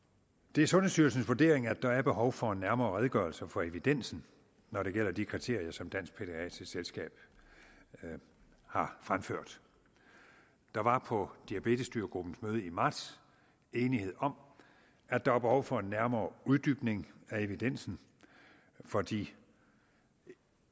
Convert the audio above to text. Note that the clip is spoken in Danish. det er sundhedsstyrelsens vurdering at der er behov for en nærmere redegørelse for evidensen når det gælder de kriterier som dansk pædiatrisk selskab har fremført der var på diabetesstyregruppens møde i marts enighed om at der er behov for en nærmere uddybning af evidensen for de